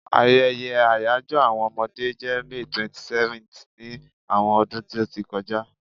Ayeye àyajo àwọn Omode je May 27th ni àwọn ọdún ti o ti kọja